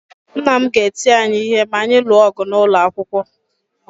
Nna m ga-eti anyị ihe ma anyị lụọ ọgụ n’ụlọ akwụkwọ.